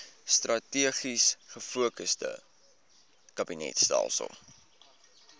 strategies gefokusde kabinetstelsel